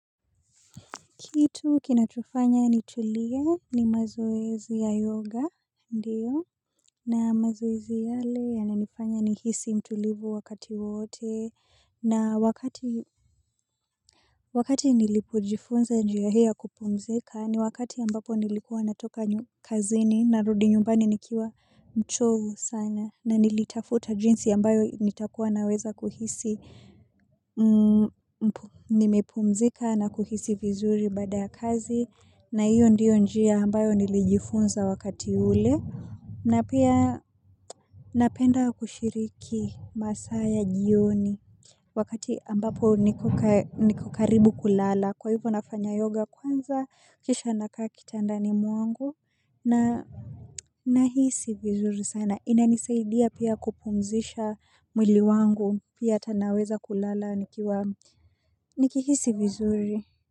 Kitu kinachofanya ni tulie ni mazoezi ya yoga, ndiyo, na mazoezi yale ya nanifanya ni hisi mtulivu wakati wote, na wakati nilipojifunza njia hii ya kupumzika ni wakati ambapo nilikuwa natoka kazini na rudi nyumbani nikiwa mchovu sana, na nilitafuta jinsi ambayo nitakuwa naweza kuhisi, nimepumzika na kuhisi vizuri baada ya kazi, na hiyo ndiyo njia ambayo nilijifunza wakati ule na pia napenda kushiriki masaa ya jioni. Wakati ambapo niko karibu kulala kwa hivo nafanya yoga kwanza kisha nakaa kitandani mwangu na nahisi vizuri sana inanisaidia pia kupumzisha mwili wangu pia tanaweza kulala nikihisi vizuri.